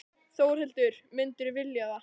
Þórhildur: Myndirðu vilja það?